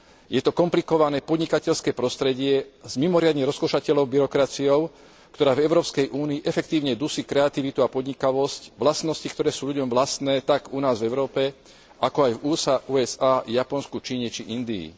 Je to komplikované podnikateľské prostredie s mimoriadne rozkošatenou byrokraciou, ktorá v Európskej únii efektívne dusí kreativitu a podnikavosť, vlastnosti, ktoré sú ľuďom vlastné tak u nás v Európe, ako aj v USA, Japonsku, Číne či Indii.